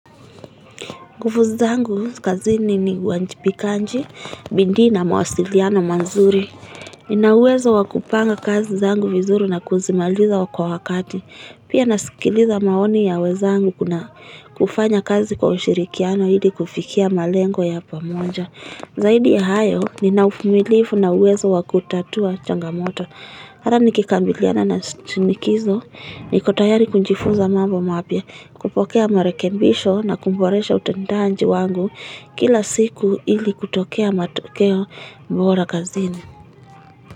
Nguvu zangu kazini ni wajibikaji, bidii na mawasiliano mazuri. Nina uwezo wa kupanga kazi zangu vizuri na kuzimaliza kwa wakati. Pia nasikiliza maoni ya wenzangu kuna kufanya kazi kwa ushirikiano ili kufikia malengo ya pamoja. Zaidi ya hayo, nina uvumilifu na uwezo wa kutatua changamoto. Hata nikikabiliana na shinikizo niko tayari kujifunza mambo mapya kupokea marekebisho na kuboresha utendaji wangu kila siku ili kutokea matokeo bora kazini.